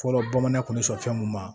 Fɔlɔ bamanan kun bɛ sɔn fɛn mun ma